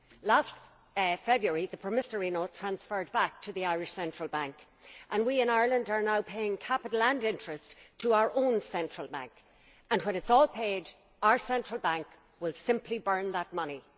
Last February the promissory note transferred back to the Irish Central Bank and we in Ireland are now paying capital and interest to our own Central Bank, and when it is all paid our Central Bank will simply burn that money.